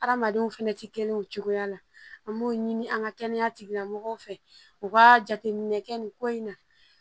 Adamadenw fɛnɛ ti kelen o cogoya la an b'o ɲini an ka kɛnɛya tigilamɔgɔw fɛ u ka jateminɛ kɛ nin ko in na